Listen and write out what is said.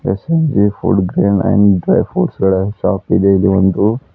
SNG food grain and dry fruits ಗಳ shop ಇದೆ ಇದೊಂದು--